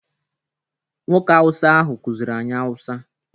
Nwoke awụsa ahụ kuziri anyi awụsa.